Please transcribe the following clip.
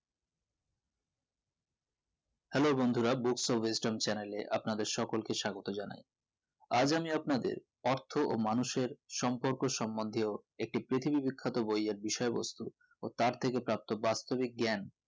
hello বন্ধুরা books of western channel আপনাদের সকলকে স্বাগত জানাই আজ আমি আপনাদের অর্থ ও মানুষের সম্পর্ক সমন্ধিও একটি প্রতিবি বিখ্যাত বইয়ের বিষয় বস্তু ও তার থেকে প্রাপ্ত বাস্তবিক জ্ঞান